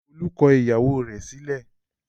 Olú kọ ìyàwó rẹ̀ sílẹ̀?